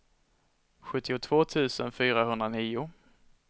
sjuttiotvå tusen fyrahundranio